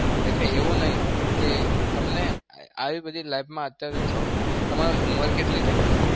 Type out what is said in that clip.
એટલે એવું નહિ કે તમને આવી બધી life માં અત્યારે તમારી ઉમર કેટલી થઇ?